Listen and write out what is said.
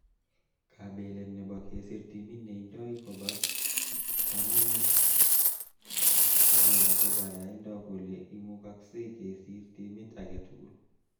Kabelet nebo kesir timit neindoi koba kamanut akoyate baraindo kole imukuksei kesir timit age tugul.